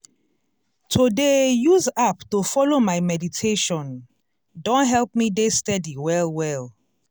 to dey use app to follow my meditation don help me dey steady well well.